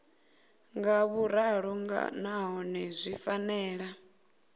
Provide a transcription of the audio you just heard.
nga vhuḓalo nahone zwi fanela